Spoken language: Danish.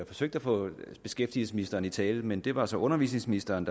forsøgte at få beskæftigelsesministeren i tale men det var så undervisningsministeren